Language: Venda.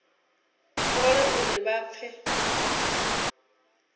fhole na uri vha pfe